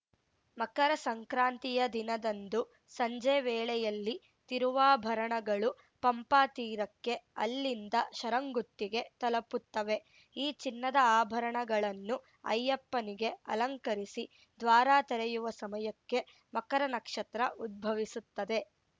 ಮಕರ ಸಂಕ್ರಾಂತಿಯ ದಿನದಂದು ಸಂಜೆ ವೇಳೆಯಲ್ಲಿ ತಿರುವಾಭರಣಗಳು ಪಂಪಾ ತೀರಕ್ಕೆ ಅಲ್ಲಿಂದ ಶರಂಗುತ್ತಿಗೆ ತಲುಪುತ್ತವೆ ಈ ಚಿನ್ನದ ಆಭರಣಗಳನ್ನು ಅಯ್ಯಪ್ಪನಿಗೆ ಅಲಂಕರಿಸಿ ದ್ವಾರ ತೆರೆಯುವ ಸಮಯಕ್ಕೆ ಮಕರ ನಕ್ಷತ್ರ ಉದ್ಭವಿಸುತ್ತದೆ